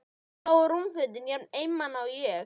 Þarna lágu rúmfötin, jafn einmana og ég.